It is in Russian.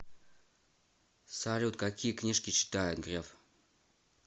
салют какие книжки читает греф